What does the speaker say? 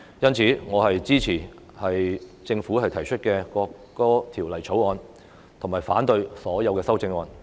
因此，我支持政府提出的《條例草案》，以及反對所有的修正案。